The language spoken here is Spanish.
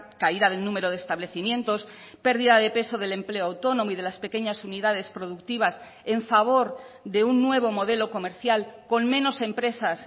caída del número de establecimientos pérdida de peso del empleo autónomo y de las pequeñas unidades productivas en favor de un nuevo modelo comercial con menos empresas